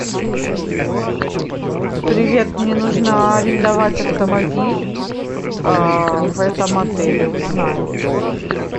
привет мне нужно арендовать автомобиль в этом отеле узнай